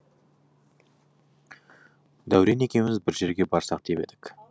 дәурен екеуміз бір жерге барсақ деп едік